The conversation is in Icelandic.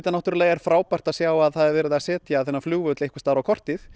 náttúrulega frábært að sjá að það er verið að setja þennan flugvöll einhvers staðar á kortið